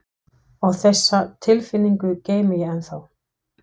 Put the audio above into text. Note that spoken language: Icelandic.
Og þessa tilfinningu geymi ég ennþá.